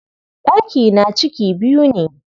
Ɗakina ciki biyu ne.